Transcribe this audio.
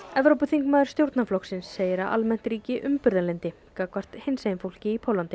Evrópuþingmaður stjórnarflokksins segir að almennt ríki umburðarlyndi gangvart hinsegin fólki í Póllandi